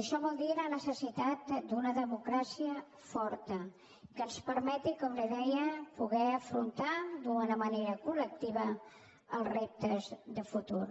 això vol dir la necessitat d’una democràcia forta que ens permeti com li deia poder afrontar d’una manera col·lectiva els reptes de futur